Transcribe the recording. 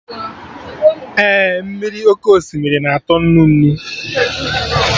Ee, mmiri oké osimiri na-atọ nnu nnu